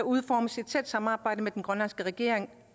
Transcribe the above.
udformes i et tæt samarbejde med den grønlandske regering